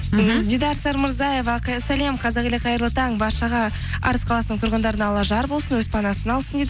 мхм дидар сармырзаева сәлем қазақ елі қайырлы таң баршаға арыс қаласының тұрғындарына алла жар болсын өз панасына алсын дейді